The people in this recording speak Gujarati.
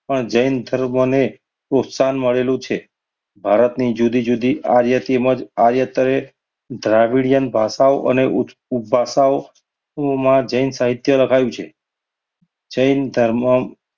જૈન ધર્મને પ્રોત્સાહન મળેલું છે. ભારતની જુદી જુદી આર્ય તેમજ આર્ય દ્રાવિડીયન ભાષાઓ અને ઉપ~ઉપભાષાઓ માં જૈન સાહિત્ય લખાવ્યું છે. જૈન ધર્મ